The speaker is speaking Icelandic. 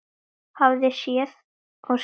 Hafði séð og skilið.